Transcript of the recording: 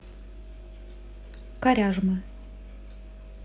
коряжмы